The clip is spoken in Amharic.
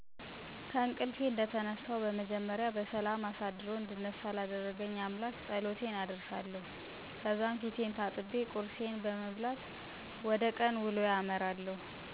ከእንቅልፍ እንደተነሳሁ በመጀመሪያ በሠላም አሳድሮ እንድነሳ ላደረገኝ አምላክ ፀሎቴን አደርሳለሁ፣ ከዛም ፊቴን ታጥቤ ቁርሴን በመብላት ወደ ቀን ውሎዬ አመራለሁ።